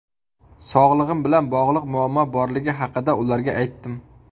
Sog‘lig‘im bilan bog‘liq muammo borligi haqida ularga aytdim.